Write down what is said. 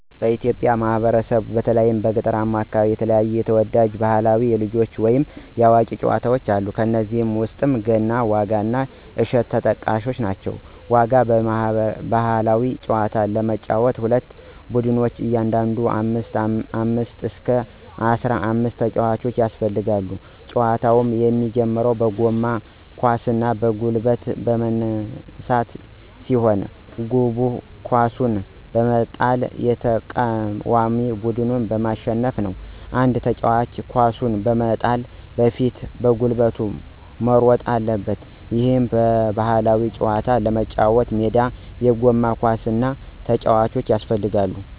በኢትዮጵያ ማህበረሰብ በተለይም በገጠራማው አከባቢ የተለያዩ ተወዳጅ ባህላዊ የልጆች ወይንም የአዋቂዎች ጨዋታወች አሉ። ከነዚህም ውስጥ ገና፣ ዋጋ እና እሸት ተጠቃሽ ናቸው። ዋጋ ባህላዊ ጨዋታ ለመጫወት ሁለት ቡድኖች እያንዳንዱ ከ አምስት እስከ አስራአምስት ተጫዋቾች ያስፈልጋሉ። ጨዋታው የሚጀምረው በጎማ ኳስን በጉልበት ማንሳት ሲሆን፤ ግቡ ኳሱን በመጣል የተቃዋሚውን ቡድን ማሸነፍ ነው። አንድ ተጫዋች ኳሱን በመጣል በፊት በጉልበት መሮጥ አለበት። ይህን ባህላዊ ጨዋታ ለመጫወት ሜዳ፣ የጎማ ኳስ እና ተጫዋቾች ያስፈልጋሉ።